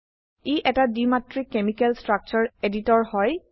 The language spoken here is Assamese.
ই এটা দ্বিমাত্ৰিক কেমিকাল স্ট্ৰাকচাৰ এডিটৰ হয়